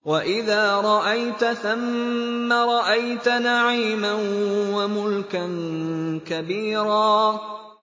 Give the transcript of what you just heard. وَإِذَا رَأَيْتَ ثَمَّ رَأَيْتَ نَعِيمًا وَمُلْكًا كَبِيرًا